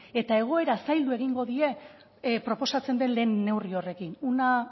eta egoera zaildu egingo die proposatzen den lehen neurri horrekin una